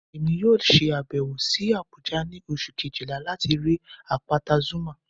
Emi yoo ṣe abẹwo si Abuja ni Oṣu kejila lati rii apata Zuma